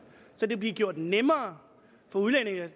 så det bliver gjort nemmere for udlændinge